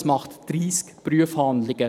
Das macht 30 Prüfhandlungen.